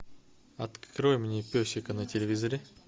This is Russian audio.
открой мне песика на телевизоре